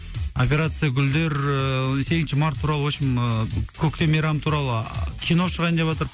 операция гүлдер ыыы сегізінші март туралы вообщем ыыы көктем мейрамы туралы а кино шығайын деватыр